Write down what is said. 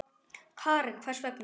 Karen: Hvers vegna?